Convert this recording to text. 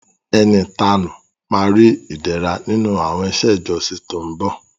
Ẹni ìtanú ma ri Ìdẹ̀ra nínú àwọn iṣẹ́ ìjọsìn tó ń bọ̀